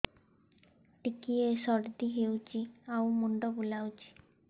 ଟିକିଏ ସର୍ଦ୍ଦି ହେଇଚି ଆଉ ମୁଣ୍ଡ ବୁଲାଉଛି